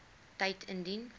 tyd indien